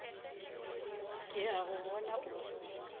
ke a go bona o